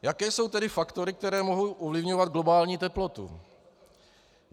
Jaké jsou tedy faktory, které mohou ovlivňovat globální teplotu?